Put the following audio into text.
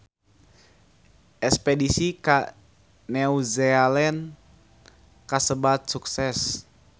Espedisi ka New Zealand kasebat sukses